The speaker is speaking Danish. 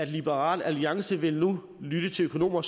liberal alliance vil nu lytte til økonomer